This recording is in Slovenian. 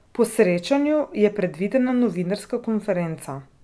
Po srečanju je predvidena novinarska konferenca.